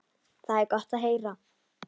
Það var gott að heyra.